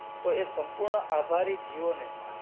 તો એ સંપૂર્ણ આભારી જીઓ ને જ.